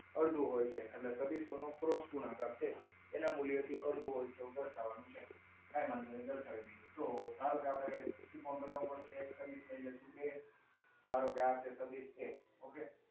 અડધું હોય છે. એટલે સદીસોનો ક્રોસ ગુણાકાર છે. એના મૂલ્યથી અડધું હોય છે એવું દર્શાવવાનું છે. કાંઈ વાંધો નહિ દર્શાવી દઈએ. જુઓ. ધારો કે, આપણે ત્રિકોણ બનાવવા પડશે. સદીશ લઈ લઈશું ધારો કે આજે સદીશ એ. okay